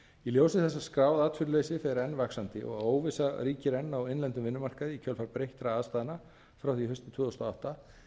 ljósi þess að skráð atvinnuleysi fer enn vaxandi og óvissa ríkir enn á innlendum vinnumarkaði í kjölfar breyttra starfsmanna frá því haustið tvö þúsund og átta er